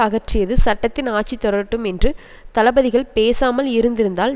அகற்றியது சட்டத்தின் ஆட்சி தொடரட்டும் என்று தளபதிகள் பேசாமல் இருந்திருந்தால்